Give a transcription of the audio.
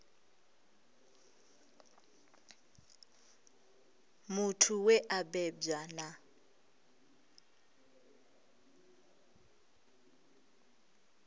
muthu we a bebwa na